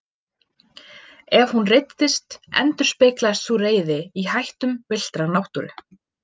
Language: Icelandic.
Ef hún reiddist endurspeglaðist sú reiði í hættum villtrar náttúru.